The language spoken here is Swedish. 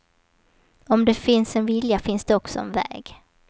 Om det finns en vilja finns det också en väg.